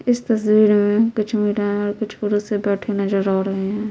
इस तस्वीर में कुछ महिलाएं और कुछ पुरुष से बैठे नजर आ रहें हैं।